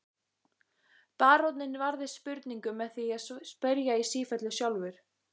Baróninn varðist spurningum með því að spyrja í sífellu sjálfur.